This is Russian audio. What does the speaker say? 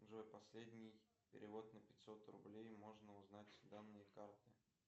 джой последний перевод на пятьсот рублей можно узнать данные карты